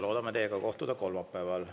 Loodame teiega kohtuda kolmapäeval.